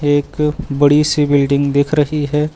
एक बड़ी सी बिल्डिंग दिख रही है।